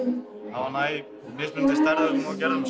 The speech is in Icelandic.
hafði hana í mismunandi stærðum og gerðum